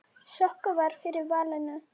Sokka varð fyrir valinu.